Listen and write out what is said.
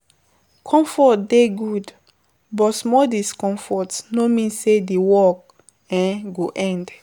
Comfort dey good, but small discomfort no mean sey di workd um go end